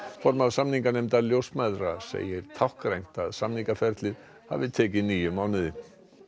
formaður samninganefndar ljósmæðra segir táknrænt að samningaferlið hafi tekið níu mánuði